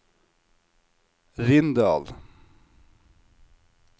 Rindal